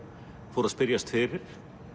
fór að spyrjast fyrir